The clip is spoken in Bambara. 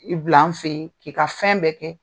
I bila an fe yen . K'i ka fɛn bɛɛ kɛ.